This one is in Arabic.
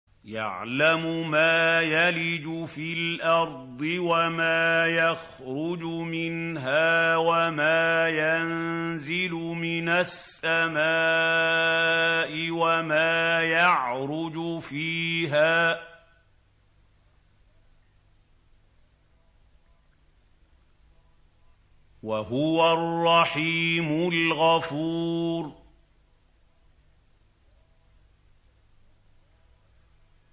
يَعْلَمُ مَا يَلِجُ فِي الْأَرْضِ وَمَا يَخْرُجُ مِنْهَا وَمَا يَنزِلُ مِنَ السَّمَاءِ وَمَا يَعْرُجُ فِيهَا ۚ وَهُوَ الرَّحِيمُ الْغَفُورُ